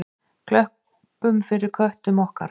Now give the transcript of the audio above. Klöppum fyrir köttum okkar!